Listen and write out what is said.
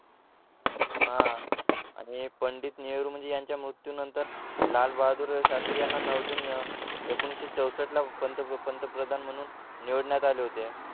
हा आणि पंडित नेहरू म्हणजे यांच्या मृत्यूनंतर लालबहादूर शास्त्री यांना नऊ जुनी अह एकोणीशे चौसष्ट ला पंत पंतप्रधान म्हणून निवडण्यात आले होते